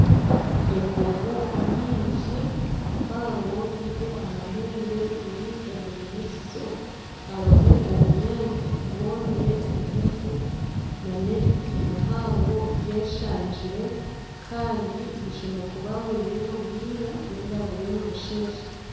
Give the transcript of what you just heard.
Embogo nyingi mpango ziine amahembe ziri omu irisizo harimu obunyaatsi bwomire bugufu nana ebiti bihango byeshanjire Kandi bushemereire kuba buriyo ni bwira ninga ni busheesha.